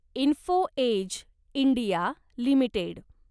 info Edge India limited